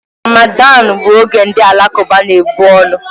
Ramadan bụ oge ndị Alakụba na-ebu ọnụ